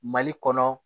Mali kɔnɔ